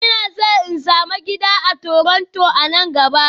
Ina so in sami gida a Toronto a nan gaba